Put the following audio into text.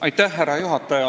Austatud härra juhataja!